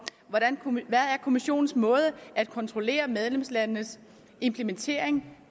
kommissionens måde at kontrollere medlemslandenes implementering